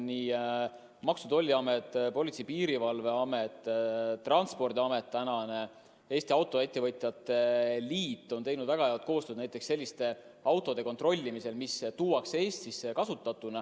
Aga Maksu- ja Tolliamet, Politsei- ja Piirivalveamet, Transpordiamet ja praegune Eesti Autoettevõtjate Liit on teinud väga head koostööd näiteks selliste autode kontrollimisel, mis tuuakse Eestisse kasutatuna.